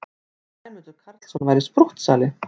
Að Sæmundur Karlsson væri sprúttsali!